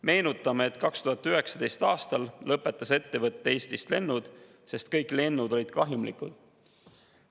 Meenutame, et 2019. aastal lõpetas ettevõte Eestist lennud, sest kõik lennud olid kahjumlikud.